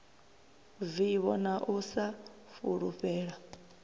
vivho na u sa fulufhela